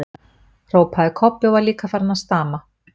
hrópaði Kobbi og var líka farinn að stama.